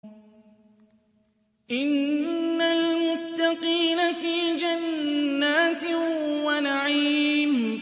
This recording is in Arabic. إِنَّ الْمُتَّقِينَ فِي جَنَّاتٍ وَنَعِيمٍ